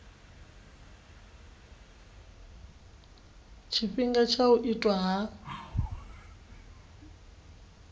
tshifhinga tsha u itwa ha